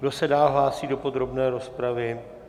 Kdo se dál hlásí do podrobné rozpravy?